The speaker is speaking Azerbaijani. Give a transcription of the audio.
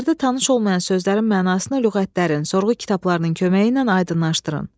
Əsərdə tanış olmayan sözlərin mənasını lüğətlərin, sorğu kitablarının köməyi ilə aydınlaşdırın.